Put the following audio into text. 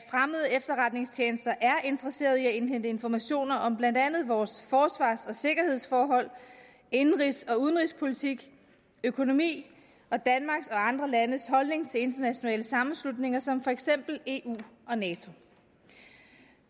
efterretningstjenester er interesserede i at indhente informationer om blandt andet vores forsvars og sikkerhedsforhold indenrigs og udenrigspolitik økonomi og danmarks og andre landes holdning til internationale sammenslutninger som for eksempel eu og nato